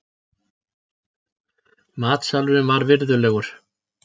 Matsalurinn var virðulegur.